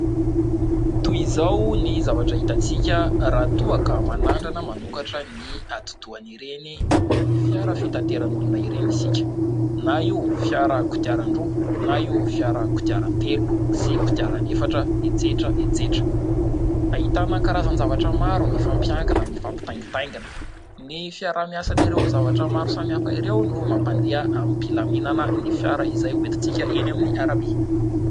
Toy izao ny zavatra hitantsika raha toa ka manandrana manokatra ny atidohan'ireny fiara fitateran'olona ireny isika, na io fiara kodiaran-droa, na io fiara kodiaran-telo, sy kodiaran'efatra, etsetra etsetra. Ahitana karazan-javatra maro mifampiankina, mifampitaingitaingina. Ny fiaraha-miasan'ireo zavatra maro samihafa ireo no mampandeha am-pilaminana ny fiara izay hoentintsika eny amin'ny arabe.